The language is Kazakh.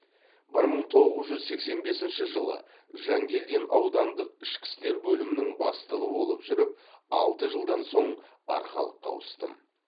бір мың тоғыз жүз сексен бесінші жылы жанкелдин аудандық ішкі істер бөлімінің бастығы болып жүріп алты жылдан соң арқалыққа ауыстым